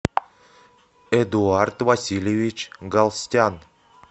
эдуард васильевич галстян